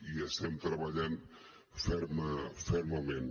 hi estem treballant fermament